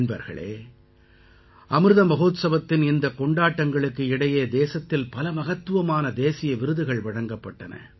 நண்பர்களே அமிர்த மஹோத்சவத்தின் இந்தக் கொண்டாட்டங்களுக்கு இடையே தேசத்தில் பல மகத்துவமான தேசிய விருதுகள் வழங்கப்பட்டன